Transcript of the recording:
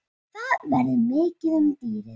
Það verður mikið um dýrðir.